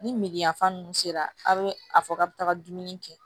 Ni me yan fan ninnu sera a' bɛ a fɔ k'a bɛ taga dumuni kɛ